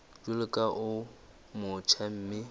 jwalo ka o motjha mme